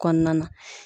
Kɔnɔna na